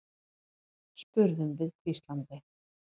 spurðum við hvíslandi.